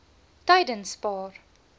tydenspaar